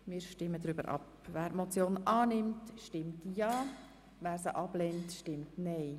Wer diese Motion annimmt, stimmt ja, wer sie ablehnt, stimmt nein.